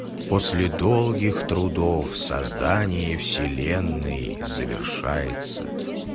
после долгих трудов создание вселенной завершается